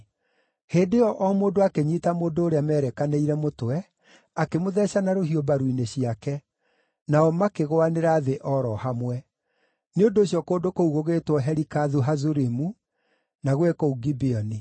Hĩndĩ ĩyo o mũndũ akĩnyiita mũndũ ũrĩa merekanĩire mũtwe, akĩmũtheeca na rũhiũ mbaru-inĩ ciake, nao makĩgũanĩra thĩ o ro hamwe. Nĩ ũndũ ũcio kũndũ kũu gũgĩĩtwo Helikathu-Hazurimu, na gwĩ kũu Gibeoni.